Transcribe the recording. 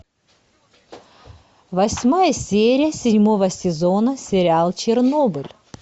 восьмая серия седьмого сезона сериал чернобыль